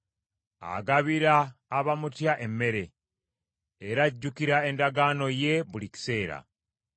Agabira abamutya emmere; era ajjukira endagaano ye buli kiseera.